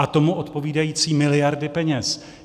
A tomu odpovídající miliardy peněz.